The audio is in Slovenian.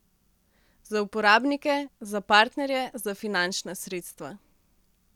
Za uporabnike, za partnerje, za finančna sredstva.